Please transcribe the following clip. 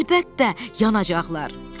Əlbəttə, yanacaqlar!